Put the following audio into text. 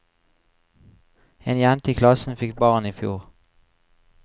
En jente i klassen fikk barn i fjor.